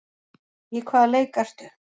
Í hvaða leik ertu?